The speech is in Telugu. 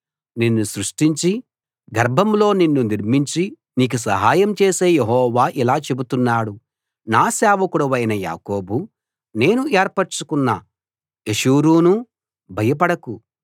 నిన్ను సృష్టించి గర్భంలో నిన్ను నిర్మించి నీకు సహాయం చేసే యెహోవా ఇలా చెబుతున్నాడు నా సేవకుడవైన యాకోబూ నేను ఏర్పరచుకొన్న యెషూరూనూ భయపడకు